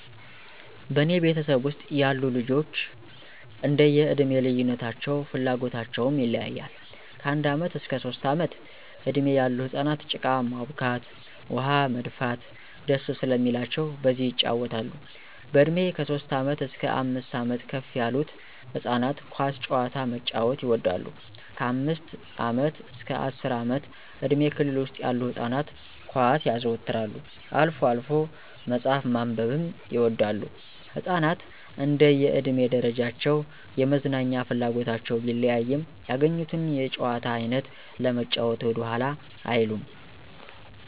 በእኔ ቤተሰብ ውስጥ ያሉ ልጆች እንደዬ እድሜ ልዩነታቸው ፍላጎታቸውም ይለያያል። ከአንድ ዓመት እስከ ሦስት ዓመት እድሜ ያሉ ህፃናት ጭቃ ማቡካት፣ ውኃ መድፋት ደስ ስለሚላቸው በዚህ የጫወታሉ፣ በእድሜ ከሦስት ዓመት እስከ አምስት ዓመት ከፍ ያሉት ህፃናት ኳስ ጨዋታ መጫዎት ይወዳሉ፣ ከአምስት ዓመት አስከ አስር ዓመት እድሜ ክልል ውስጥ ያሉ ህፃናት ኳስ ያዘወትራሉ፣ አልፎ አልፎ መጽሐፍ ማንበብም ይወዳሉ። ህፃናት እንደየ እድሜ ደረጃቸው የመዝናኛ ፍላጎታቸው ቢለያይም ያገኙትን የጨዋታ አይነት ለመጫዎት ወደኋላ አይሉም።